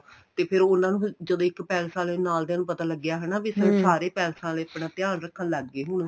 ਤੇ ਫ਼ਿਰ ਉਹਨਾ ਨੂੰ ਜਦੋਂ ਇੱਕ ਪੈਲਸ ਆਲੇ ਨਾਲ ਦੀਆ ਨੂੰ ਪਤਾ ਲੱਗਿਆ ਹਨਾ ਵੀ ਫ਼ੇਰ ਸਾਰੇ ਪੈਲਸ ਵਾਲੇ ਆਪਣਾ ਧਿਆਨ ਰੱਖਣ ਲੱਗ ਗਏ ਹੁਣ